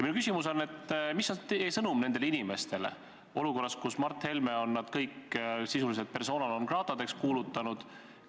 Minu küsimus on: mis on sõnum nendele inimestele olukorras, kus Mart Helme on nad kõik sisuliselt persona non grata'deks kuulutanud?